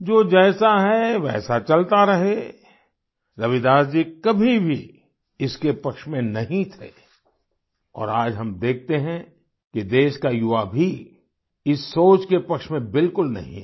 जो जैसा है वो वैसा चलता रहे रविदास जी कभी भी इसके पक्ष में नहीं थे और आज हम देखते है कि देश का युवा भी इस सोच के पक्ष में बिलकुल नहीं है